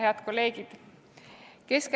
Head kolleegid!